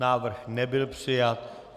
Návrh nebyl přijat.